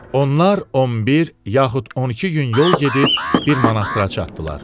Onlar 11 yaxud 12 gün yol gedib bir monastra çatdılar.